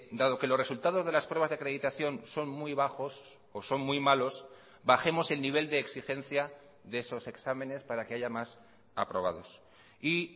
dado que los resultados de las pruebas de acreditación son muy bajos o son muy malos bajemos el nivel de exigencia de esos exámenes para que haya más aprobados y